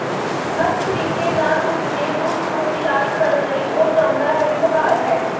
ਹਰ ਤਰੀਕੇ ਨਾਲ ਉਸ ਨੇ ਉਸ ਨੂੰ ਇਲਾਜ ਕਰਨ ਲਈ ਉਹ ਚਾਹੁੰਦਾ ਹੈ ਵਿਵਹਾਰ ਹੈ